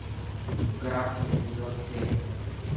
гранд эпизод семь